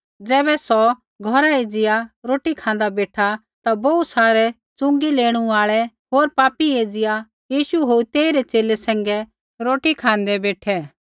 ज़ैबै सौ घौरा एज़िया रोटी खाँदा बेठा ता बोहू सारै च़ुँगी लेणू आल़ै होर पापी एज़िया यीशु होर तेइरै च़ेले सैंघै रोटी खाँदै बेठै